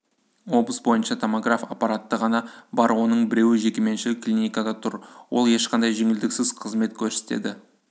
облыс бойынша томограф аппараты ғана бар оның біреуі жекеменшік клиникада тұр ол ешқандай жеңілдіксіз қызмет көрсетеді